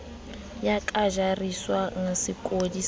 ya ka jariswang sekodi sa